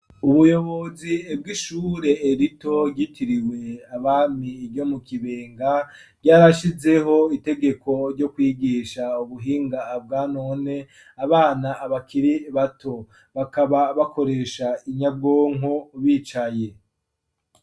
Ubuyobozi bw'ishure rito ryitiriwe abami ryo mu Kibenga, ryarashizeho itegeko ryo kwigisha ubuhinga bwa none abana bakiri bato. Bakaba bakoresha inyabwonko bicaye.